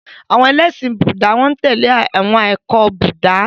Àwọn ẹlẹ́ṣin Búúdà n tẹle awọn ẹkọ Buddha.